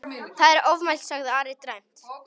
Það er ofmælt, sagði Ari dræmt.